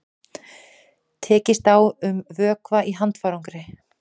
Tekist á um vökva í handfarangri